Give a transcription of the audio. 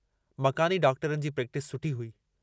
मकानी डॉक्टरनि जी प्रेक्टस सुठी हुई।